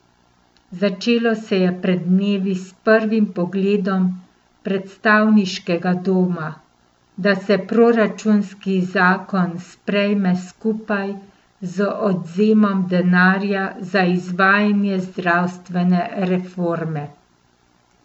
Začelo se je pred dnevi s prvim predlogom predstavniškega doma, da se proračunski zakon sprejme skupaj z odvzemom denarja za izvajanje zdravstvene reforme.